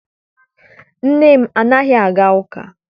Nne m anaghị aga ụka.